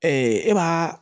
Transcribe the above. e b'a